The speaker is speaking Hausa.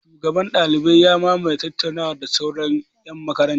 Shugaban ɗaliban ya mamaye tattaunawar da sauran ƴan makarantar.